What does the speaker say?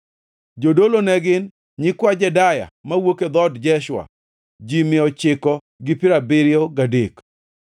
Jodolo ne gin: Nyikwa Jedaya (mowuok e dhood Jeshua), ji mia ochiko gi piero abiriyo gadek (973),